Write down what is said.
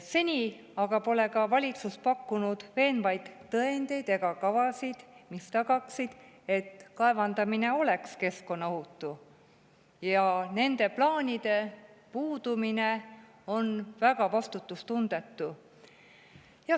Seni pole valitsus pakkunud veenvaid tõendeid ega kavasid, mis tagaksid, et kaevandamine on keskkonnaohutu, ja nende plaanide puudumine on väga vastutustundetu.